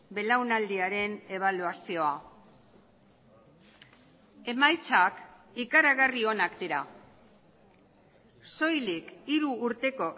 belaunaldiaren ebaluazioa emaitzak ikaragarri onak dira soilik hiru urteko